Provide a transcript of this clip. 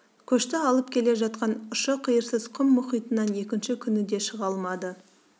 көшті алып келе жатқан ұшы-қиырсыз құм мұхитынан екінші күні де шыға алмады